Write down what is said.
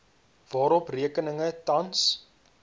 waarop rekeninge tans